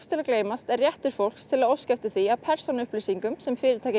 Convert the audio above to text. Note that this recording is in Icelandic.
til að gleymast er réttur fólks til að óska eftir því að persónuupplýsingar sem fyrirtæki